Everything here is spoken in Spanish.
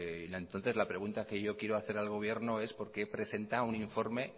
entonces la pregunta que yo quiere hacer al gobierno es por qué presenta un informa